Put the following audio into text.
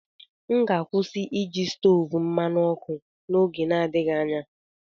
M ga-akwụsị iji stovu mmanụ ọkụ n'oge n'adịghị anya.